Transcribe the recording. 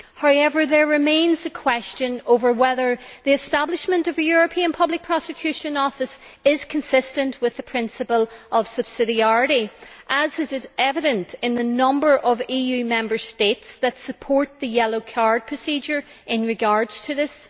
However, there remains the question over whether the establishment of a European Public Prosecutor's Office is consistent with the principle of subsidiarity, as is evident in the number of EU Member States that support the yellow card procedure in regard to this.